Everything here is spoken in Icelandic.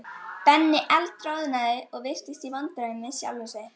Benni eldroðnaði og virtist í vandræðum með sjálfan sig.